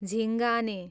झिङ्गाने